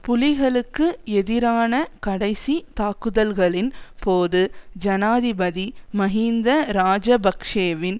புலிகளுக்கு எதிரான கடைசி தாக்குதல்களின் போது ஜனாதிபதி மஹிந்த இராஜபக்ஷவின்